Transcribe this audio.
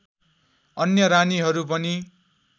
अन्य रानीहरू पनि